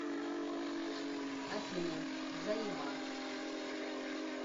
афина заеба